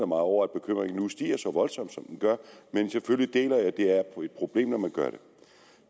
mig over at bekymringen nu stiger så voldsomt som den gør men selvfølgelig deler jeg at det er et problem at